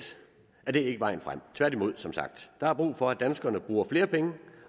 er det ikke vejen frem tværtimod som sagt der er brug for at danskerne bruger flere penge